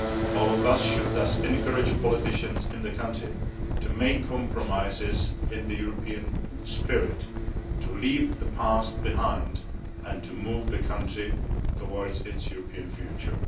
All of us should thus encourage politicians in the country to make compromises in the European spirit, to leave the past behind and to move the country towards its European future.